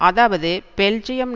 அதாவது பெல்ஜியம்